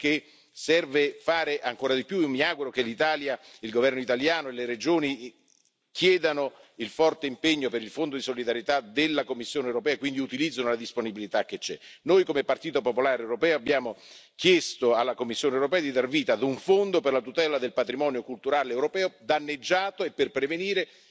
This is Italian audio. Ecco perché serve fare ancora di più e mi auguro che l'Italia, il governo italiano e le Regioni, chiedano il forte impegno per il Fondo di solidarietà della Commissione europea e quindi utilizzino la disponibilità che esiste. Noi come Partito popolare europeo abbiamo chiesto alla Commissione europea di dar vita a un Fondo per la tutela del patrimonio culturale europeo danneggiato e per prevenire